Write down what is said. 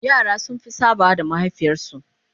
yara sun Fi sabawa da mahaifiyar su